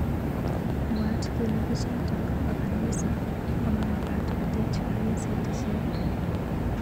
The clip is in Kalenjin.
Mwaat kele bichotok bo kanisa komomakat kotech kaniset icheke.